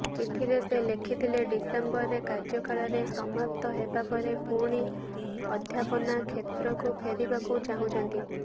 ଚିଠିରେ ସେ ଲେଖିଥିଲେ ଡିସେମ୍ବରରେ କାର୍ଯ୍ୟକାଳରେ ସମାପ୍ତ ହେବା ପରେ ପୁଣି ଅଧ୍ୟାପନା କ୍ଷେତ୍ରକୁ ଫେରିବାକୁ ଚାହୁଁଛନ୍ତି